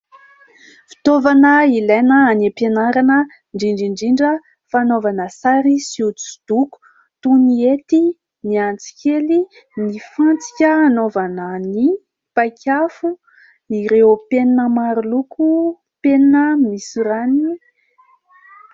Fitaovana ilaina any ampianarana indrindra indrindra fanaovana sary sy hosidoko toy ny ety, ny antsy kely, ny fantsika anaovanan'ny mpaikafo ireo mpenina maroloko, penina misorany.